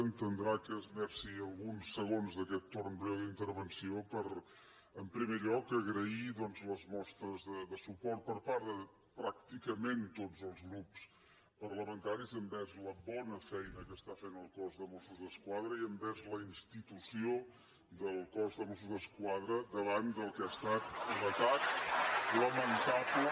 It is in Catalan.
entendrà que esmerci alguns segons d’aquest torn breu d’intervenció per en primer lloc agrair doncs les mostres de suport per part de pràcticament tots els grups parlamentaris envers la bona feina que està fent el cos de mossos d’esquadra i envers la institució del cos de mossos d’esquadra davant del que ha estat un atac lamentable